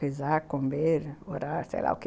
Rezar, comer, orar, sei lá o quê.